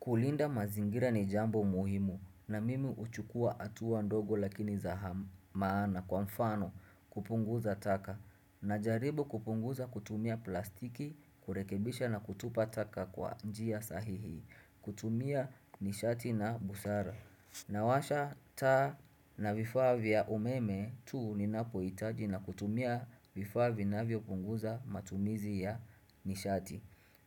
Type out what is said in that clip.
Kulinda mazingira ni jambo muhimu na mimi huchukua hatuwa ndogo lakini za maana kwa mfano kupunguza taka na jaribu kupunguza kutumia plastiki kurekebisha na kutupa taka kwa njia sahihi kutumia nishati na busara. Nawasha taa na vifaa vya umeme tuu ninapohitaji na kutumia vifaa vinavyopunguza matumizi ya nishati.